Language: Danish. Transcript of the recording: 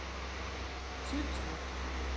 Tylstrup